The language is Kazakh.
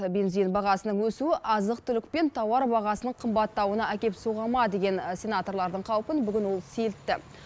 бензин бағасының өсуі азық түлік пен тауар бағасының қымбаттауына әкеп соға ма деген сенаторлардың қаупін бүгін ол сейілтті